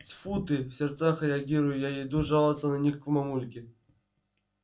тьфу ты в сердцах реагирую я иду жаловаться на них мамульке